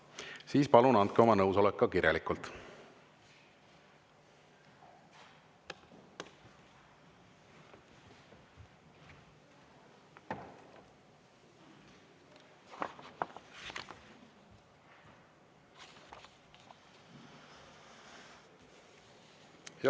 Siis palun andke oma nõusolek ka kirjalikult.